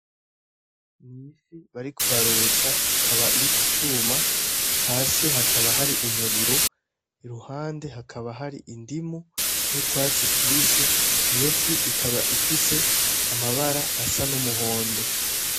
N'ifi bariko barotsa ikaba iri kicuma hasi hakaba hari umuriro, iruhande hakaba hari indimu n'utwatsi tubisi, iyofi ikaba ifise amabara asa numuhondo.